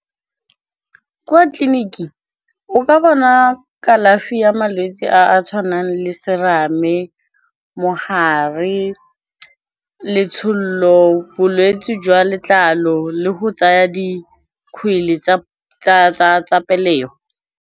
ko tleliniking o ka bona kalafi ya malwetse a a tshwanang le serame, mogare, letsholo bolwetsi jwa letlalo, le go tsaya dikgwele tsa pelegi.